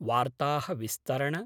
वार्ताः विस्तरण